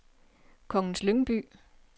Kongens Lyngby